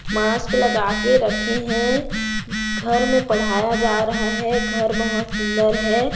Mask लगा के रखे हैं घर में पढ़ाया जा रहा है घर बहुत सुंदर है।